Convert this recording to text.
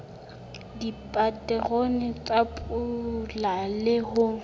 dipaterone tsa pula le ho